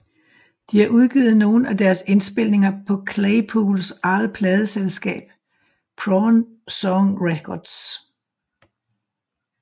De har udgivet nogle af deres indspilninger på Claypools eget pladeselskab Prawn Song Records